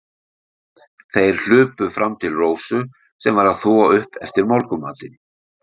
Þeir hlupu fram til Rósu, sem var að þvo upp eftir morgunmatinn.